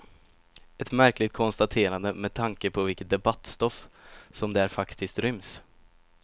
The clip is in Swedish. Ett märkligt konstaterande, med tanke på vilket debattstoff som där faktiskt ryms.